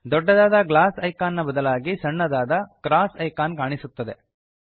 ದೊಡ್ದದಾದ glass icon ನ ಬದಲಾಗಿ ಸಣ್ಣದಾದ ಕ್ರಾಸ್ ಐಕಾನ್ ಕಾಣಿಸುತ್ತದೆ